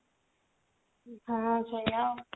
ହଁ ସେୟା ଆଉ